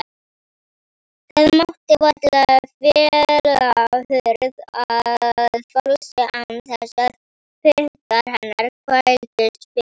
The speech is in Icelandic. Það mátti varla fella hurð að falsi án þess að puttar hennar þvældust fyrir.